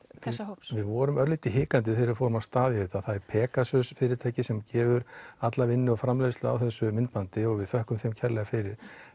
þessa hóps við vorum örlítið hikandi þegar við fórum af stað með það er Pegasus fyrirtæki sem gerir alla vinnu og framleiðslu á þessu myndbandi og við þökkum þeim kærlega fyrir